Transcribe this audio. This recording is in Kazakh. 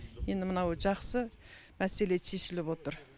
енді мынау жақсы мәселе шешіліп отыр